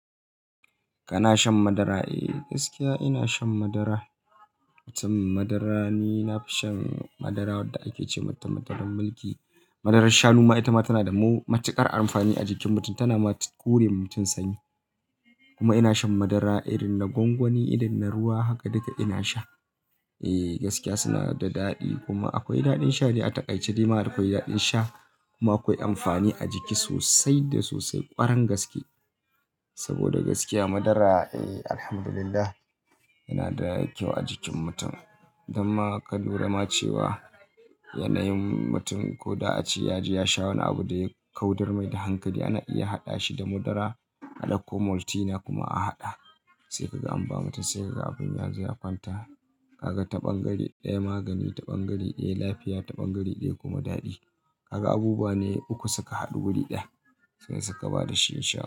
Kana shan madara? Eh, gaskiya ina shan madara. Tum madara ni na fi shan madara wanda ake ce wa mutum madaran milki. Madarar shanu ma ita ma tana da ma matuƙar amfani a jikin mutum. Tana ma kure ma mutum sanyi. Kuma ina shan madara irin na gwangwani, irin na ruwa, haka duka ina sha. Eh, gaskiya suna da daɗi, kuma akwai daɗin sha dai a taƙaice ɗaima akwai daɗin sha. Kuma akwai amfani a jiki sosai, da sosai, ƙwarangaske. Saboda gaskiya madara eh, Alhamdulillah yana da kyau a jikin mutum. Idan ma ka lura ma cewa, yanayin, mutum ko da a ce ya ji ya sha wani abu da ya kaudar mai da hankali, ana iya haɗa shi da madara. A ɗauko Maltina kuma a haɗa. Sai kaga an ba mutum, sai kaga abin yanzu ya kwanta. Kaga ta ɓangare ɗaya magani, ta ɓangare ɗaya lafiya, ta ɓangare ɗaya kuma daɗi. Kaga abubuwa ne uku suka haɗu wuri ɗaya, sai suka ba da shinshina.